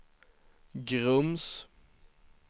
Grums